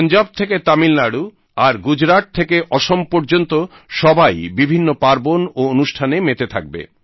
পঞ্জাব থেকে তামিলনাড়ূ আর গুজরাট থেকে অসম পর্যন্ত সবাই বিভিন্ন পার্বণ ও অনুষ্ঠানে মেতে থাকবে